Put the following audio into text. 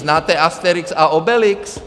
Znáte Asterix a Obelix?